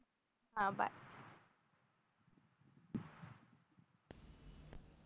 हा बाय